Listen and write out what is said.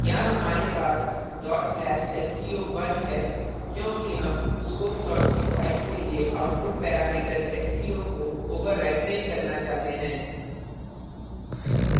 यहाँ हमारे पास/sco1 है क्योंकि हम scope c file के लिए output parameter sco को overwrite नहीं करना चाहते हैं